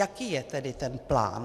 Jaký je tedy ten plán?